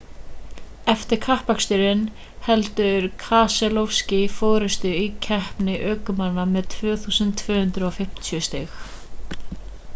eftir kappaksturinn heldur keselowski forystunni í keppni ökumanna með 2250 stig